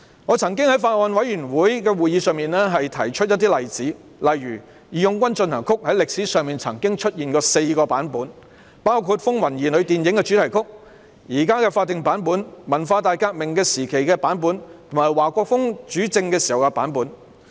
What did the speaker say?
我曾經在法案委員會會議上提出一些例子，例如"義勇軍進行曲"在歷史上曾經出現4個版本，包括電影"風雲兒女"的主題曲、現時的法定版本、文化大革命時期的版本，以及華國鋒主政時的版本。